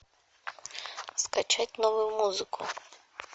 скачать новую музыку